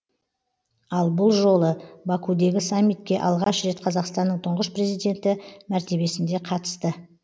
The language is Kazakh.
ал бұл жолы бакудегі саммитке алғаш рет қазақстанның тұңғыш президенті мәртебесінде қатысты